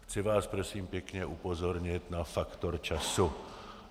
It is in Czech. Chci vás prosím pěkně upozornit na faktor času.